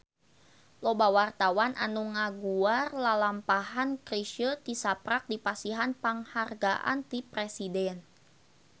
Loba wartawan anu ngaguar lalampahan Chrisye tisaprak dipasihan panghargaan ti Presiden